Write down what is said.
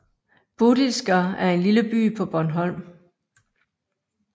Bodilsker er en lille by på Bornholm